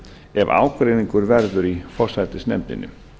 ef ágreiningur verður í forsætisnefndinni